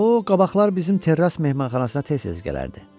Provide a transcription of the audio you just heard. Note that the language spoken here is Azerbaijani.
O qabaqlar bizim terras mehmanxanasına tez-tez gələrdi.